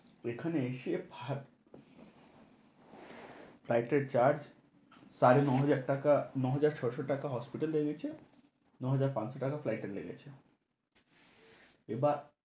এখানে এসে flight এর charge সাড়ে নয় হাজার টাকা, নয় হাজার ছয়শ টাকা hospital লেগেছে, নয় হাজার পাঁচশ টাকা flight এর লেগেছে। এবা~